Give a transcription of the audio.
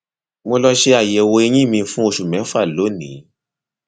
mo lọ ṣe àyẹwò eyín mi fún oṣù mẹfà lónìí